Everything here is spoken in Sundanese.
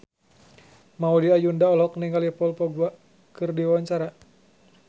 Maudy Ayunda olohok ningali Paul Dogba keur diwawancara